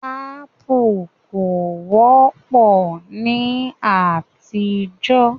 Ápù kò wọ́pọ̀ ní àtijọ́